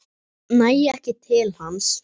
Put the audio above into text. Næ ekki til hans.